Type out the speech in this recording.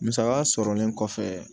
Musaka sɔrɔlen kɔfɛ